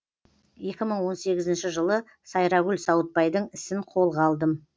екі мың он сегізінші жылы сайрагүл сауытбайдың ісін қолға алдым